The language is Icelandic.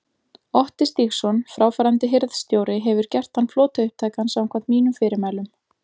Otti Stígsson, fráfarandi hirðstjóri hefur gert þann flota upptækan samkvæmt mínum fyrirmælum.